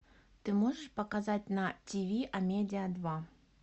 ты можешь показать на тиви амедиа два